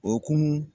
O hokumu